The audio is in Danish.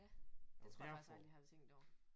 Ja det tror jeg faktisk aldrig jeg har tænkt over